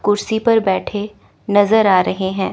कुर्सी पर बैठे नजर आ रहे हैं।